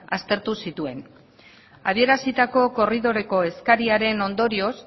aztertu zituen adierazitako korridoreko eskariaren ondorioz